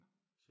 Nåh